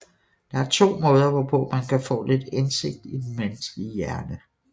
Der er to måder hvorpå man kan få lidt indsigt ind i den menneskelige hjerne